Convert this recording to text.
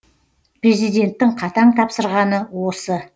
президенттің қатаң тапсырғаны осы